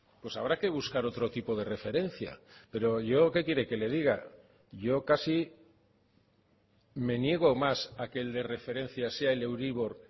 pues habrá que buscar otro tipo de referencia pero yo que quiere que le diga yo casi me niego más a que el de referencia sea el euribor